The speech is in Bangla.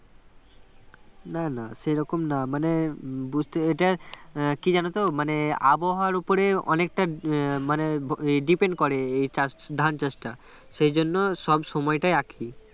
না না সেরকম না মানে বুঝতে এটা কি জানো তো মানে আবহাওয়ার উপরে অনেকটা উম মানে depend করে এই চাষ ধান চাষটা সেই জন্য সবসময়টা একই